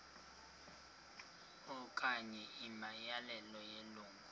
okanye imiyalelo yelungu